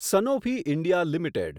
Sanofi India limited